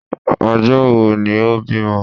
Ọjọ́ wo ni o bímọ?